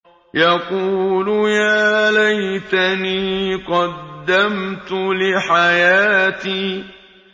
يَقُولُ يَا لَيْتَنِي قَدَّمْتُ لِحَيَاتِي